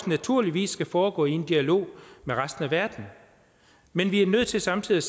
naturligvis skal foregå i en dialog med resten af verden men vi er nødt til samtidig